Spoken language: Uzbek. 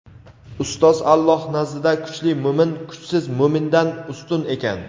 Ustoz Alloh nazdida kuchli mo‘min kuchsiz mo‘mindan ustun ekan.